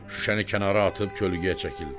Şüşəni kənara atıb kölgəyə çəkildi.